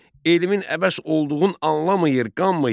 Elmin əbəs olduğunu anlamayır, qanmayır.